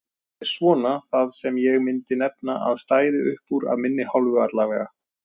Þetta er svona það sem ég myndi nefna að stæði uppúr af minni hálfu allavega.